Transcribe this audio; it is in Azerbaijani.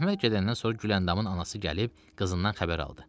Əhməd gedəndən sonra Güləndamın anası gəlib qızından xəbər aldı.